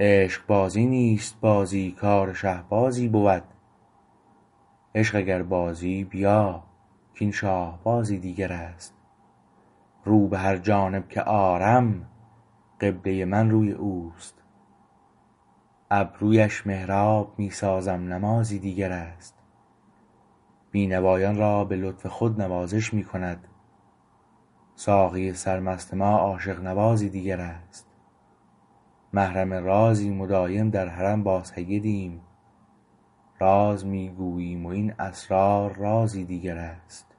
عشقبازی نیست بازی کار شهبازی بود عشق اگر بازی بیا کاین شاهبازی دیگر است رو به هر جانب که آرم قبله من روی اوست ابرویش محراب می سازم نمازی دیگر است بینوایان را به لطف خود نوازش می کند ساقی سرمست ما عاشق نوازی دیگر است محرم رازیم و دایم در حرم با سیدیم راز می گوییم و این اسرار رازی دیگر است